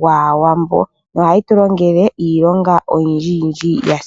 gwaawambo no hayi tu longele iilonga oyindji yindji yasimana.